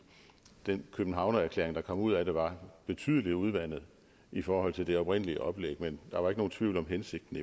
den københavnererklæring der kom ud af det var betydelig udvandet i forhold til det oprindelige oplæg men der var ikke nogen tvivl om hensigten